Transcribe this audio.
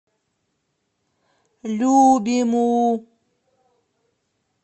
любиму